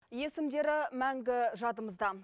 есімдері мәңгі жадымызда